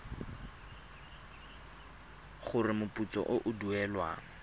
gore moputso o o duelwang